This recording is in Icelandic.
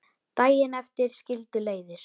Daginn eftir skildu leiðir.